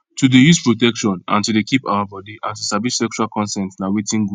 to dey use protection and to dey keep our body and to sabi sexual consent na watin good